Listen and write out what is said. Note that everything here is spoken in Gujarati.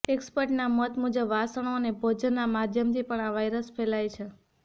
એક્સપર્ટ્સના મત મુજબ વાસણો અને ભોજનના માધ્યમથી પણ આ વાયરસ ફેલાય છે